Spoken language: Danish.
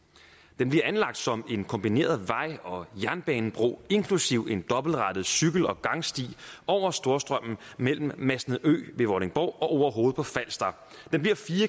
den bliver anlagt som en kombineret vej og jernbanebro inklusive en dobbeltrettet cykel og gangsti over storstrømmen mellem masnedø ved vordingborg og orehoved på falster den bliver fire